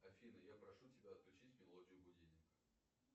афина я прошу тебя отключить мелодию будильника